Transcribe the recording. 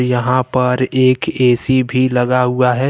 यहां पर एक ए_सी भी लगा हुआ है।